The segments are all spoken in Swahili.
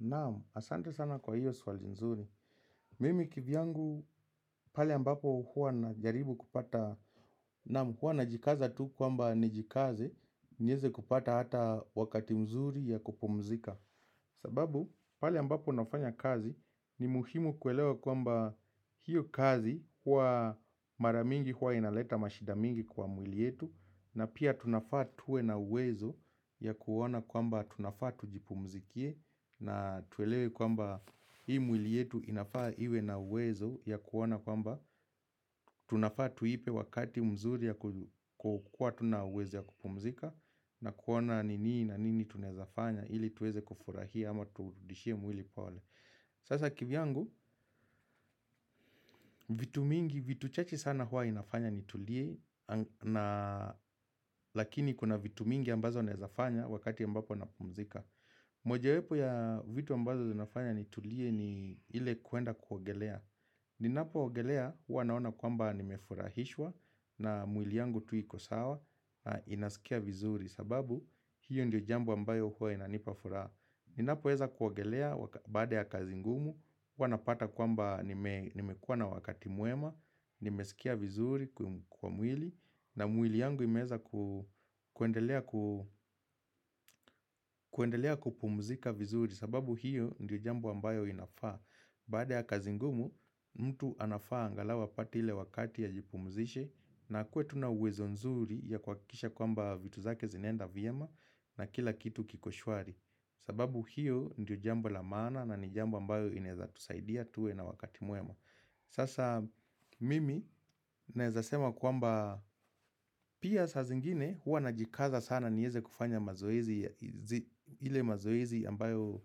Naamu, asante sana kwa hiyo swali nzuri. Mimi kivyangu, pale ambapo huwa na jaribu kupata. Naamu, huwa na jikaza tu kwamba ni jikaze, nyeze kupata hata wakati mzuri ya kupumzika. Sababu, pale ambapo nafanya kazi, ni muhimu kuelewa kwamba hiyo kazi, huwa maramingi huwa inaleta mashida mingi kwa mwili yetu, na pia tunafaa tuwe na uwezo ya kuona kwamba tunafaa tujipumzikie, na tuelewe kwamba hii mwili yetu inafaa iwe na uwezo ya kuona kwamba Tunafaa tuipe wakati mzuri ya kukua tuna uwezo ya kupumzika na kuona nini na nini tunaezafanya ili tuweze kufurahia ama turudishie mwili pole Sasa kivyangu, vitu mingi, vitu chache sana hua inafanya ni tulie Lakini kuna vitu mingi ambazo naezafanya wakati ambapo napumzika moja wepo ya vitu ambazo zinafanya ni tulie ni ile kuenda kuogelea Ninapo ogelea huwanaona kwamba nimefurahishwa na mwili yangu tu ikosawa Inasikia vizuri sababu hiyo ndio jambo ambayo huwe na nipafura Ninapo eza kuogelea baada ya kazingumu huwanapata kwamba nimekuwa na wakati muema Nimesikia vizuri kwa mwili na mwili yangu imeza kuendelea kupumzika vizuri sababu hiyo ndiyo jambo ambayo inafaa Baada ya kazingumu, mtu anafaa angalau apate ile wakati ajipumzishe na akuwe tuna uwezo nzuri ya kuakikisha kwamba vitu zake zinaenda vyema na kila kitu kikoshwari sababu hiyo ndiyo jambo la maana na ni jambo ambayo inezatusaidia tuwe na wakati muema Sasa mimi naezasema kwamba pia sa zingine huwa najikaza sana nieze kufanya mazoezi ile mazoezi ambayo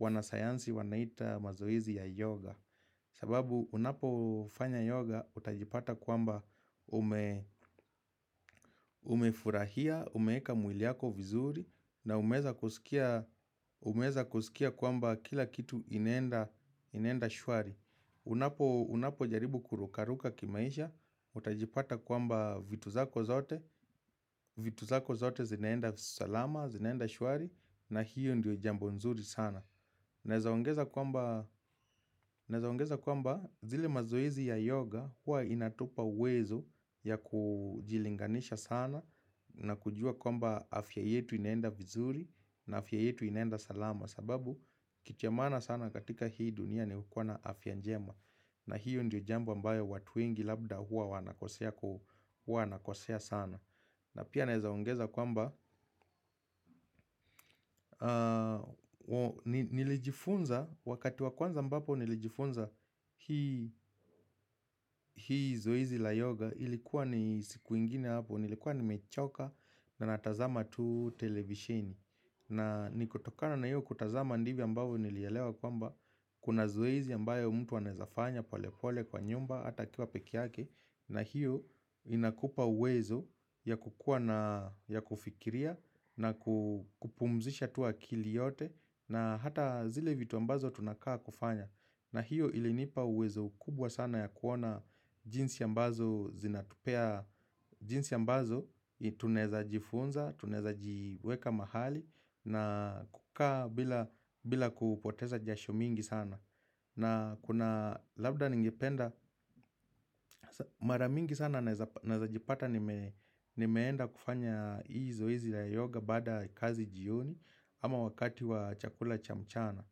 wanasayansi wanaita mazoezi ya yoga sababu unapo fanya yoga utajipata kwamba umefurahia, umeka mwili yako vizuri na umeza kusikia kwamba kila kitu inaenda shwari Unapo jaribu kurukaruka kimaisha, utajipata kwamba vitu zako zote, vitu zako zote zinaenda salama, zinaenda shwari na hiyo ndio jambo nzuri sana Naezaongeza kwamba zile mazoezi ya yoga huwa inatupa uwezo ya kujilinganisha sana na kujua kwamba afya yetu inaenda vizuri na afya yetu inaenda salama sababu kitu ya maana sana katika hii dunia ni kuwa na afya njema na hiyo ndiyo jambo ambayo watu wengi labda hua wana kosea sana na pia naezaongeza kwamba Nilijifunza wakati wa kwanza ambapo nilijifunza hii zoezi la yoga Ilikuwa ni siku ingine hapo Nilikuwa nimechoka na natazama tu televishini na nikutokana na hiyo kutazama ndivyo ambavyo nilielewa kwamba Kuna zoezi ambayo mtu anaezafanya pole pole kwa nyumba hata akiwa peke yake na hiyo inakupa uwezo ya kukua na ya kufikiria na kupumzisha tu akili yote na hata zile vitu ambazo tunakaa kufanya. Na hiyo ilinipa uwezo kubwa sana ya kuona jinsi ambazo zinatupea jinsi ambazo tunaeza jifunza, tunaeza jiweka mahali na kukaa bila kupoteza jasho mingi sana. Na kuna labda ningependa maramingi sana naezajipata nimeenda kufanya hii zoezi la yoga baada kazi jioni ama wakati wa chakula cha mchana.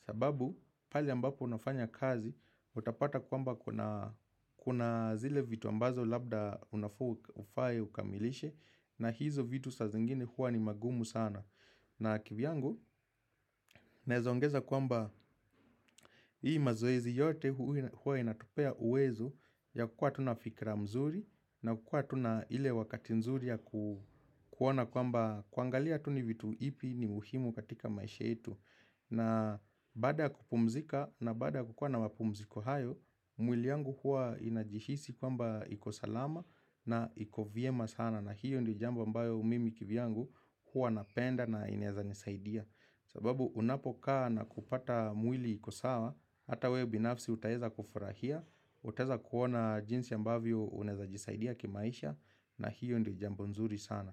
Sababu pale ambapo unafanya kazi utapata kwamba kuna zile vitu ambazo labda unafa ufaye ukamilishe na hizo vitu sa zingine huwa ni magumu sana. Na kivyangu, naezaongeza kwamba hii mazoezi yote huwa inatupea uwezo ya kukua tuna fikira mzuri na kukua tuna ile wakati nzuri ya kuona kwamba kuangalia tuni vitu ipi ni muhimu katika maisha etu. Na baada ya kupumzika na baada ya kukua na mapumziko hayo, mwili yangu huwa inajihisi kwamba ikosalama na iko vyema sana. Na hiyo ndio jambo ambayo mimi kivyangu huwa napenda na inaeza nisaidia sababu unapokaa na kupata mwili iko sawa Hata wewe binafsi utaeza kufurahia Uteza kuona jinsi ambavyo unaeza jisaidia kimaisha na hiyo ndio jambo nzuri sana.